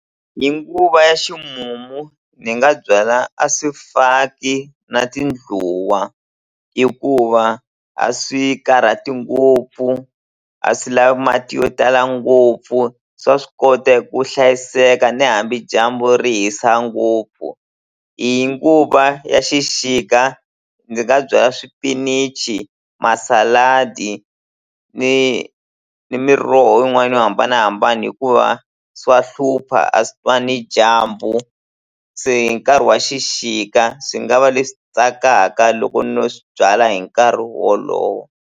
Hi nguva ya ximumu ni nga byala a swifaki na tindluwa hikuva a swi karhati ngopfu a swi lavi mati yo tala ngopfu swa swi kota eku hlayiseka ni hambi dyambu ri hisa ngopfu hi nguva ya xixika ndzi nga byala swipinichi masaladi ni ni miroho yin'wana yo hambanahambana hikuva swa hlupha a swi twani dyambu se hi nkarhi wa xixika swi nga va leswi tsakaka loko no swi byala hi nkarhi wolowo.